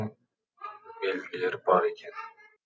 белгілері бар екен